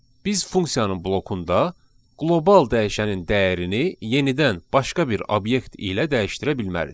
Biz funksiyanın blokunda qlobal dəyişənin dəyərini yenidən başqa bir obyekt ilə dəyişdirə bilmərik.